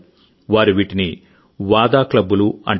వారు వీటిని వాదా VADAక్లబ్బులు అంటారు